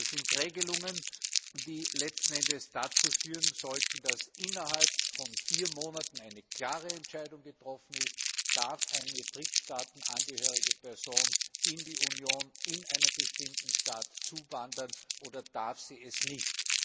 Das sind Regelungen, die letzten Endes dazu führen sollten, dass innerhalb von vier Monaten eine klare Entscheidung getroffen wird, ob eine drittstaatenangehörige Person in die Union, in eine bestimmte Stadt zuwandern darf oder nicht.